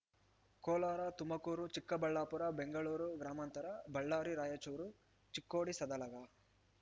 ಕೋಲಾರ ತುಮಕೂರು ಚಿಕ್ಕಬಳ್ಳಾಪುರ ಬೆಂಗಳೂರು ಗ್ರಾಮಾಂತರ ಬಳ್ಳಾರಿ ರಾಯಚೂರು ಚಿಕ್ಕೋಡಿ ಸದಲಗ